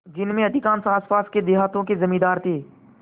जिनमें अधिकांश आसपास के देहातों के जमींदार थे